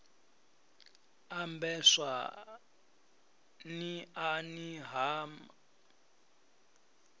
ambeswa n iani ha ma